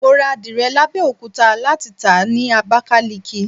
Mo rà àdìrẹ l'Abẹ́òkúta láti tàá ni Abakaliki.